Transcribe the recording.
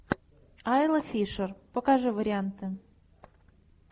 айла фишер покажи варианты